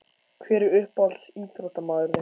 Hver er uppáhalds íþróttamaður þinn?